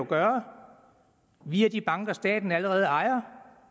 gøre via de banker staten allerede ejer